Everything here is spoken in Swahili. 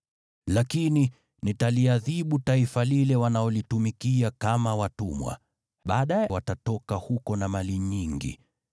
Lakini nitaliadhibu taifa lile watakalolitumikia kama watumwa, na baadaye watatoka huko na mali nyingi.